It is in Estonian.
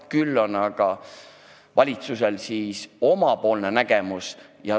Küll on aga valitsusel asjast oma nägemus.